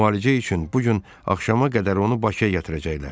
Müalicə üçün bu gün axşama qədər onu Bakıya gətirəcəklər.